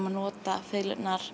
að nota